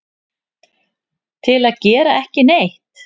til að gera ekki neitt